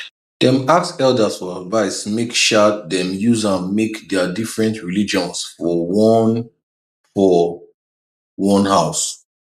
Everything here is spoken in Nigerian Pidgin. dem ask elders for advice make um dem use am manage their different religions for one for one house